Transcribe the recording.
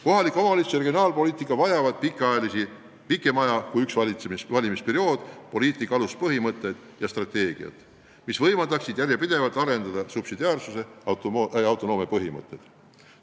Kohaliku omavalitsuse poliitika ja regionaalpoliitika vajavad ühest valimisperioodist pikema aja poliitika aluspõhimõtteid ja strateegiat, mis võimaldaksid järjepidevalt arendada subsidiaarsuse ja autonoomia põhimõtteid.